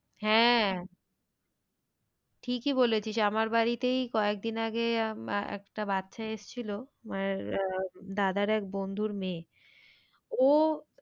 হ্যাঁ ঠিকই বলেছিস আমার বাড়িতেই কয়েক দিন আগে একটা বাচ্চা এসছিল দাদার এক বন্ধুর মেয়ে ও,